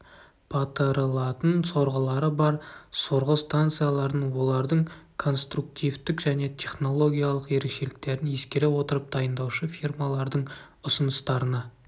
батырылатын сорғылары бар сорғы станцияларын олардың конструктивтік және технологиялық ерекшеліктерін ескере отырып дайындаушы фирмалардың ұсыныстарына